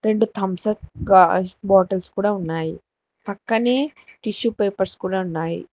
రెండు Thums Up bottles కూడా ఉన్నాయి పక్కనే టిష్యూ పేపర్స్ కూడా ఉన్నాయి.